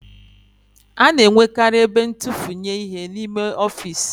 A na-enwekarị ebe ntufunye ihe n'ime ọfiisi